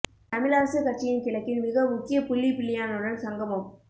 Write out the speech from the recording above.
தமிழ் அரசு கட்சியின் கிழக்கின் மிக முக்கிய புள்ளி பிள்ளையானுடன் சங்கமம்